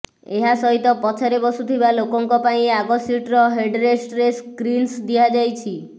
ଏହା ସହିତ ପଛରେ ବସୁଥିବା ଲୋକଙ୍କ ପାଇଁ ଆଗ ସିଟର ହେଡରେଷ୍ଟରେ ସ୍କ୍ରିନ୍ସ ଦିଆଯାଇଛି